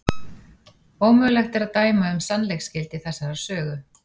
Ómögulegt er að dæma um sannleiksgildi þessarar sögu.